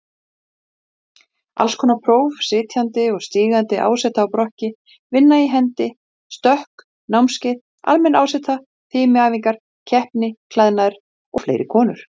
Hún rétti Erni nokkra peningaseðla.